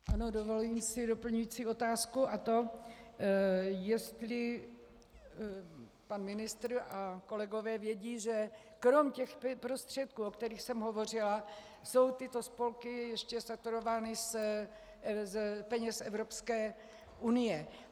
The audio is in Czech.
Ano, dovoluji si doplňující otázku, a to jestli pan ministr a kolegové vědí, že krom těchto prostředků, o kterých jsem hovořila, jsou tyto spolky ještě saturovány z peněz Evropské unie.